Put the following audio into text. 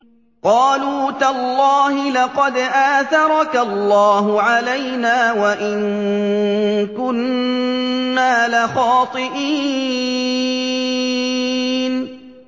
قَالُوا تَاللَّهِ لَقَدْ آثَرَكَ اللَّهُ عَلَيْنَا وَإِن كُنَّا لَخَاطِئِينَ